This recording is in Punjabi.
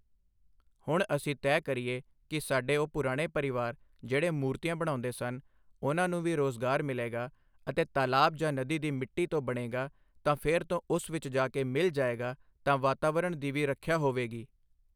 ਹੁਣ ਅਸੀਂ ਤੈਅ ਕਰੀਏ ਕਿ ਸਾਡੇ ਉਹ ਪੁਰਾਣੇ ਪਰਿਵਾਰ ਜਿਹੜੇ ਮੂਰਤੀਆਂ ਬਣਾਉਂਦੇ ਸਨ, ਉਨ੍ਹਾਂ ਨੂੰ ਵੀ ਰੋਜ਼ਗਾਰ ਮਿਲੇਗਾ ਅਤੇ ਤਲਾਬ ਜਾਂ ਨਦੀ ਦੀ ਮਿੱਟੀ ਤੋਂ ਬਣੇਗਾ ਤਾਂ ਫਿਰ ਤੋਂ ਉਸ ਵਿੱਚ ਜਾ ਕੇ ਮਿਲ ਜਾਏਗਾ ਤਾਂ ਵਾਤਾਵਰਨ ਦੀ ਵੀ ਰੱਖਿਆ ਹੋਏਗੀ।